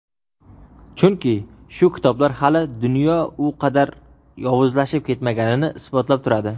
Chunki shu kitoblar hali dunyo u qadar yovuzlashib ketmaganini isbotlab turadi.